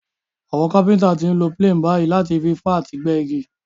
Àwon Kápẹ́ńtà ti n lo planes bàyí láti fi fá àti gbẹ́ igi